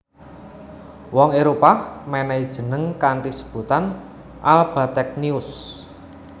Wong Éropah mènèhi jeneng kanthi sebutan AlBategnius